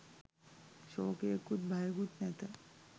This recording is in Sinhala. ශෝකයකුත් භයකුත් නැත.